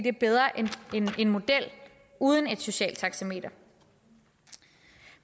er bedre end en model uden et socialt taxameter